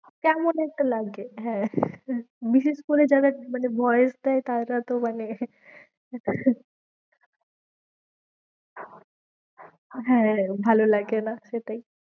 কেমন একটা লাগে হ্যাঁ বিশেষ করে যারা মানে ভয় পায় তারা ততো মানে হ্যাঁ, ভালো লাগে না, সেটাই